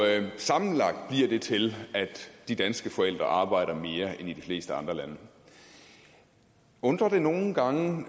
lande sammenlagt bliver det til at de danske forældre arbejder mere end forældre i de fleste andre lande undrer det nogle gange